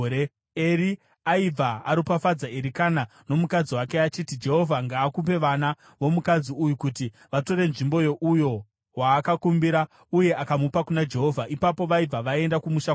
Eri aibva aropafadza Erikana nomukadzi wake achiti, “Jehovha ngaakupe vana nomukadzi uyu kuti vatore nzvimbo youyo waakakumbira uye akamupa kuna Jehovha.” Ipapo vaibva vaenda kumusha kwavo.